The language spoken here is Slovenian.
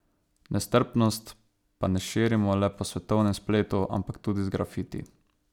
Nestrpnost pa ne širimo le po svetovnem spletu, ampak tudi z grafiti.